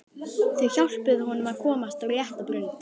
Þau hjálpuðu honum að komast á rétta braut.